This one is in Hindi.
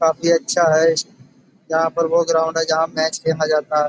काफी अच्छा है। यहाँ पर वो ग्राउंड है जहाँ मैच खेला जाता है।